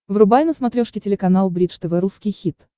врубай на смотрешке телеканал бридж тв русский хит